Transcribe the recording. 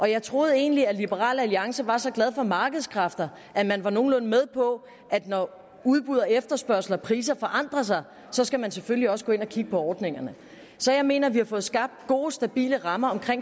jeg troede egentlig at liberal alliance var så glad for markedskræfter at man var nogenlunde med på at når udbud og efterspørgsel og priser forandrer sig skal man selvfølgelig også gå ind og kigge på ordningerne så jeg mener at vi har fået skabt gode stabile rammer